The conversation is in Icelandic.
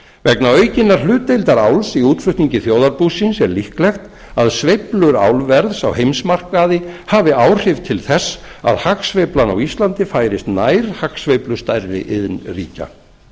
vegna aukinnar hlutdeildar áls í útflutningi þjóðarbúsins er líklegt að sveiflur álverðs á heimsmarkaði hafi áhrif til þess að hagsveiflan á íslandi færist nær hagsveiflu stærri iðnríkja